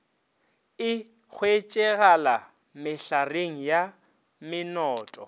e hwetšegala mehlareng ya menoto